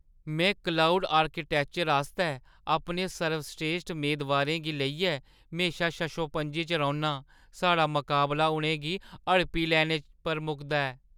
में cloud architecture आस्तै अपने सर्वस्रेश्ठ मेदवारें गी लेइयै म्हेशा शशोपंज च रौह्‌न्ना आं। साढ़ा मकाबला उʼनें गी हड़पी लैने पर मुकदा ऐ।